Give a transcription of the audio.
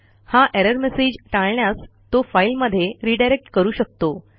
हा error message टाळण्यास तो फाईलमध्ये रिडायरेक्ट करू शकतो